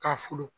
K'a folo